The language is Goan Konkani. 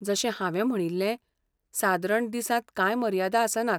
जशें हांवें म्हणिल्लें, सादरण दिसांत कांय मर्यादा आसनात.